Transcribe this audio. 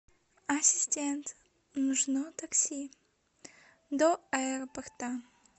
ассистент нужно такси до аэропорта